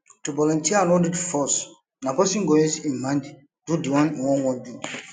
to volunteer no need force na person go use im mind do di one im won won do